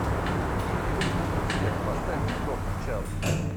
сбер поставь троп чауд